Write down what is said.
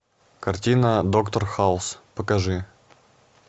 картина доктор хаус покажи